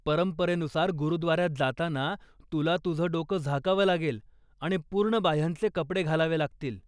परंपरेनुसार गुरुद्वाऱ्यात जाताना तुला तुझं डोक झाकावं लागेल आणि पूर्ण बाह्यांचे कपडे घालावे लागतील.